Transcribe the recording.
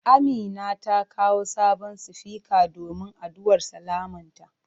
Amina ta kawo sabon sufika domin addu'ar sallamanta.